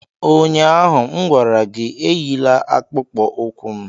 Ụnyaahụ m gwara gị, Enyila akpụkpọ ụkwụ m!